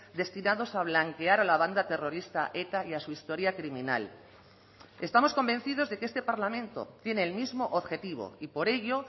destinados a blanquear a la banda terrorista eta y a su historia criminal estamos convencidos de que este parlamento tiene el mismo objetivo y por ello